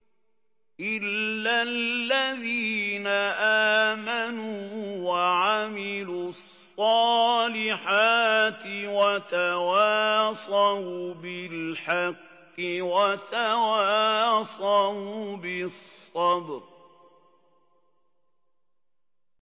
إِلَّا الَّذِينَ آمَنُوا وَعَمِلُوا الصَّالِحَاتِ وَتَوَاصَوْا بِالْحَقِّ وَتَوَاصَوْا بِالصَّبْرِ